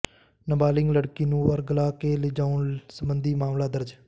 ਨਾਬਾਲਗ ਲੜਕੀ ਨੂੰ ਵਰਗ਼ਲਾ ਕੇ ਲਿਜਾਉਣ ਸਬੰਧੀ ਮਾਮਲਾ ਦਰਜ